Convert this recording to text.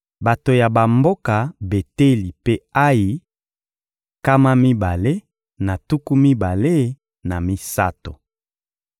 Bato ya bamboka Beteli mpe Ayi: nkama mibale na tuku mibale na misato.